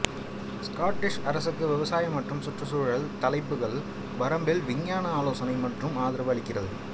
Scottish அரசுக்கு விவசாய மற்றும் சுற்றுச்சூழல் தலைப்புகள் வரம்பில் விஞ்ஞான ஆலோசனை மற்றும் ஆதரவு அளிக்கிறது